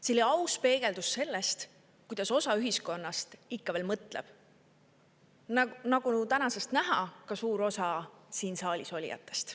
See oli aus peegeldus sellest, kuidas osa ühiskonnast ikka veel mõtleb, ja nagu tänasest näha, ka suur osa siin saalis olijatest.